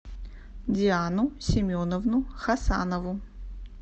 диану семеновну хасанову